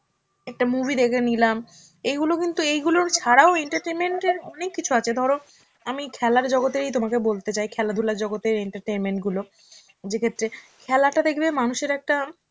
একটা movie দেখে নিলাম, এইগুলো কিন্তু~ এইগুলো ছাড়াও entertainment এর অনেক কিছু আছে, ধরো আমি খেলার জগতেরই তোমাকে বলতে চাই, খেলাধুলা জগতের entertainment গুলো. যে ক্ষেত্রে, খেলাটা দেখবে মানুষের একটা